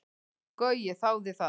Gaui þáði það.